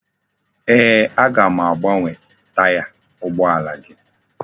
Eeh, aga m agbanwe itaya ugboala gi.